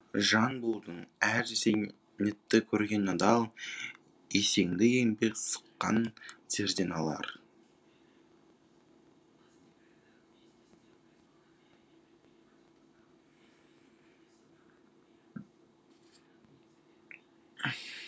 жан болдың әр зейнетті көрген адал есеңді еңбек сыққан терден алар